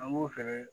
An b'o fɛnɛ